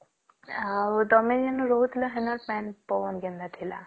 ଆଉ ତମେ ଯେଣେ ରହୁଥିଲା ସେଠି ପାଣି ପବନ କେମତିଆ ଥିଲା